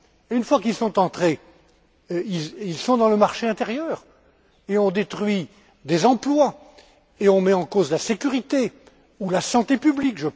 Une fois qu'ils sont entrés, ils sont dans le marché intérieur et on détruit des emplois et on met en péril la sécurité ou la santé publique.